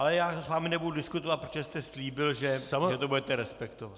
Ale já s vámi nebudu diskutovat, protože jste slíbil, že to budete respektovat.